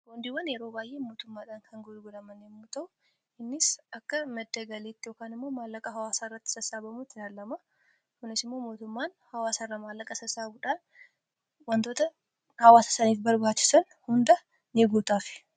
Boondiiwwan yeroo baay'ee mootummaadhaan kan gurguraman yemmu ta'u innis akka madda galiitti yookaan immoo maallaqaa hawaasaarratti sassaabamutti laallama .Kunis immoo mootummaan hawaasaarraa maallaqa sasaabuudhaan wantoota hawaasasaniif barbaachisan hunda in guutaaf.